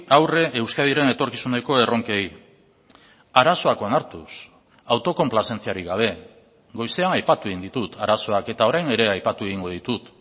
aurre euskadiren etorkizuneko erronkei arazoak onartuz autokonplazentziarik gabe goizean aipatu egin ditut arazoak eta orain ere aipatu egingo ditut